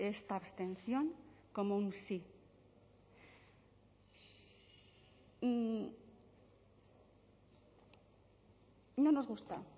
esta abstención como un sí no nos gusta